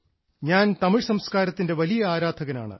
ഞാൻ തമിഴ് സംസ്കാരത്തിൻറെ വലിയ ആരാധകനാണ്